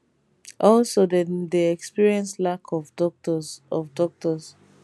also dem dey experience lack of doctors of doctors